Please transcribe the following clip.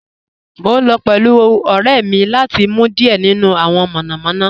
Mo n lọ pẹ̀lú ọ̀rẹ́ mi lati mu diẹ̀ nínu awọn monomono